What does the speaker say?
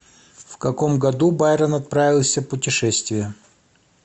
в каком году байрон отправился в путешествие